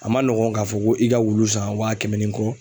A man nɔgɔ k'a fɔ ko i ka wulu san wa kɛmɛ ni kɔ.